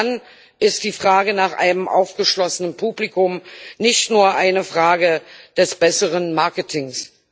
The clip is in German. Und dann ist die Frage nach einem aufgeschlossenen Publikum nicht nur eine Frage des besseren Marketings.